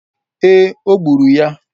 ee, o gburu ya.